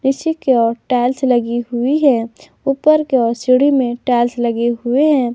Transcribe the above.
नीचे की ओर टाइल्स लगी हुई है ऊपर की ओर सीढ़ी में टाइल्स लगी हुए हैं।